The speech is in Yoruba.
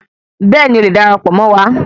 Bẹ́ẹ̀ni,o lè darapọ̀ Mọ wá.